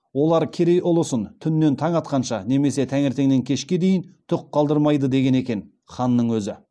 олар керей ұлысын түн нен таң атқанша немесе таңертеңнен кешке дейін түк қалдырмайды деген екен ханның өзі